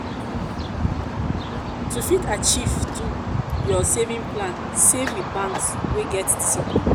to fit achieve your saving plan save with banks wey get discipline